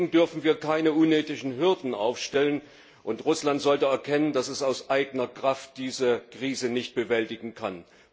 Deswegen dürfen wir keine unnötigen Hürden aufstellen. Und Russland sollte erkennen, dass es aus eigener Kraft diese Krise nicht bewältigen kann.